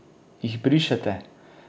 Jih brišete?